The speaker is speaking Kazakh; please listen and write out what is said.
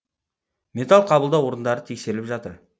металл қабылдау орындары тексеріліп жатыр